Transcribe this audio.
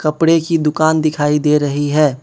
कपड़े की दुकान दिखाई दे रही है।